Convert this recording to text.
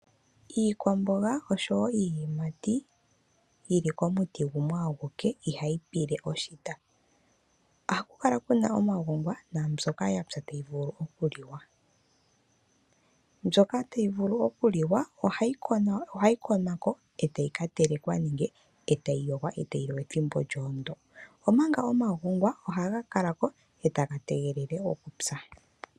Iikwamboga oshowo iiyimati yi li komuti gumwe aguke ihayi pile oshita. Ohaku kala ku na omagongwa naambyoka yapya tayi vulu okuliwa. Mbyoka tayi vulu okuliwa ohayi konwa ko e tayi ka telekwa nenge e tayi yogwa e tayi liwa ethimbo ndyo, omanga omagongwa ohaga kala ko e taga tegelele okupya.